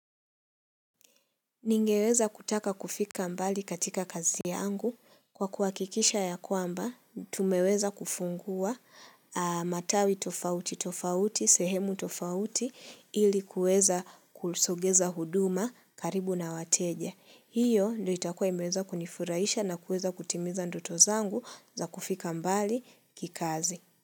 Ningeweza kutaka kufika mbali katika kazi yangu kwa kuhakikisha ya kwamba tumeweza kufungua matawi tofauti tofauti sehemu tofauti ili kuweza kusogeza huduma karibu na wateja. Hiyo ndo itakua imeweza kunifuraisha na kueza kutimiza ndoto zangu za kufika mbali kikazi.